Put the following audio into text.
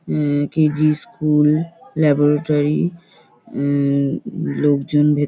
হুম KG school laboratory হুম লোকজন ভেত-- ।